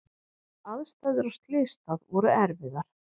Aðstæður á slysstað voru erfiðar.